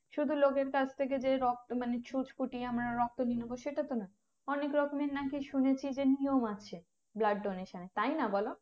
শুধু লোকের কাছ থেকে যে রক্ত মানে সুচ ফুটিয়ে আমরা রক্ত নিয়ে নেবো বা সেটা তো না অনেক রকমের নাকি শুনেছি যে নিয়ম আছে blood donation এর তাই না বোলো